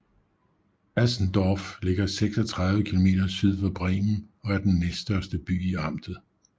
Asendorf ligger 36 km syd for Bremen og er den næststørste by i amtet